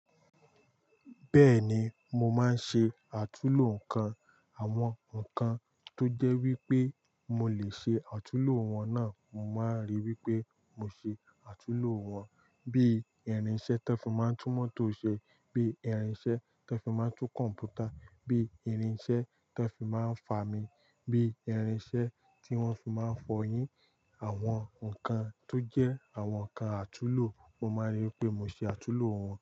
Bẹ́ẹ̀ni, mo máa ń ṣe àtúlo nǹkan. Àwọn nǹkan tó jẹ́ wípé mo lè ṣe àtúlo wọn náà, mo máa n rí wípé mo ṣe àtúlo wọn. Bíi irinṣẹ́ tón fi máa ń tú mọ́tò ṣe, bíi irinṣẹ́ tón fi máa ń tú kọ̀m̀pútà, bíi irinṣẹ́ tón fi máa ń fami, bíi irinṣẹ́ tí wọ́n fi máa ń fọyín. Àwọn nǹkan tó jẹ́ àwọn nǹkan àtúlo, mo máa rí wípé mo ṣe àtúlo wọn.